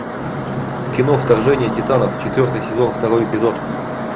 кино вторжение титанов четвертый сезон второй эпизод